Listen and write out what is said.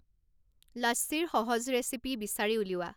লাচ্চীৰ সহজ ৰেচিপি বিচাৰি উলিওৱা